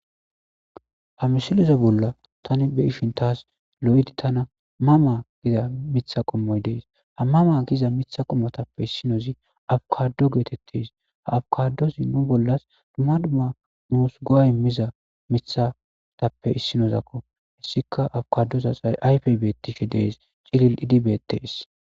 Ha misiloze bolla tani be ishin taas lo7idi tana mama giza mitha qommoy dees ha mama giza mitha qommotappe issinozi awukado geetettes ha awkadosi nu bollas dumma duma nuus go7ay miza mithatappe issinozakko hessika awkadosas ayfey bettishi dees cilil idibeettees.